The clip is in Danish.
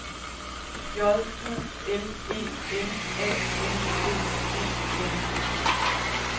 J U L E M A N D E N